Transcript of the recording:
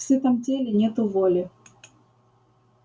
в сытом теле нету воли